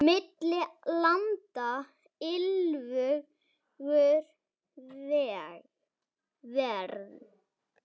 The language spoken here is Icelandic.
Milli landa liggur ver.